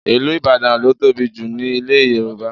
Ìlú Ìbàdàn ló tóbi jù ní ilẹ̀ Yorùbá